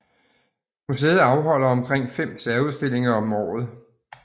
Museet afholder omkring fem særudstillinger om året